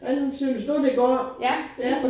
Hvordan synes du det går ja